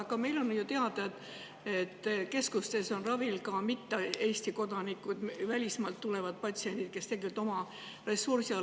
Aga on ju teada, et meil käivad keskustes ravil mitte ainult Eesti kodanikud, välismaalt tulevad patsiendid, kes tegelikult tulevad ravile oma ressursiga.